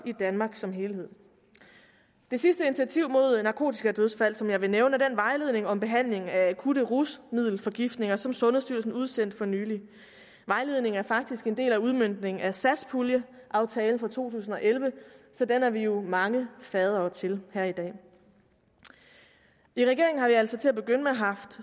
i danmark som helhed det sidste initiativ mod narkotikadødsfald som jeg vil nævne er den vejledning om behandling af akutte rusmiddelforgiftninger som sundhedsstyrelsen udsendte for nylig vejledningen er faktisk en del af udmøntningen af satspuljeaftalen for to tusind og elleve så den er vi jo mange faddere til her i dag i regeringen har vi altså til at begynde med haft